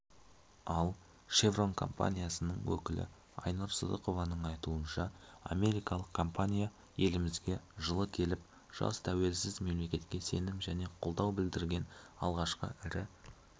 ал шеврон компаниясының өкілі айнұр сыдықованың айтуынша америкалық компания елімізге жылы келіп жас тәуелсіз мемлекетке сенім және қолдау білдірген алғашқы ірі